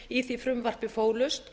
í því frumvarpi fólust